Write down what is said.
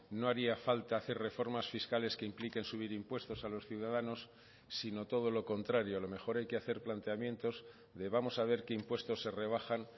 no haría falta hacer reformas fiscales que impliquen subir impuestos a los ciudadanos sino todo lo contrario a lo mejor hay que hacer planteamientos de vamos a ver qué impuestos se rebajan